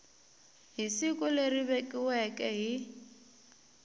hi siku leri vekiweke hi